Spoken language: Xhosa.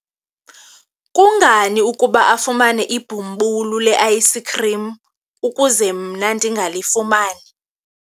kungani ukuba afumane ibhumbulu le-ayisikhrim ukuze mna ndingalifumani?